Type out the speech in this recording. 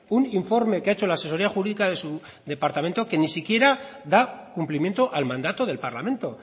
un informe que ha hecho la asesoría jurídica de su departamento que ni siquiera da cumplimiento al mandato del parlamento